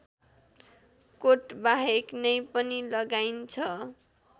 कोटबाहेक नै पनि लगाइन्छ